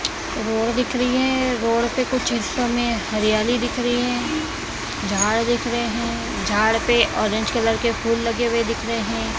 Road दिख रही है रोड पे कुछ इस समय हरियाली दिख रही है झाड़ दिख रहे है झाड़ पे ऑरेंज कलर के फुल लगे हुए दिख रहे है।